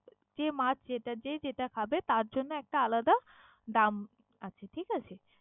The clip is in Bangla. যে মাছ যেটা যে যেটা খাবে তার জন্য একটা আলাদা দাম আছে, ঠিক আছে?